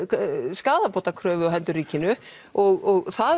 skaðabótakröfu á hendur ríkinu og það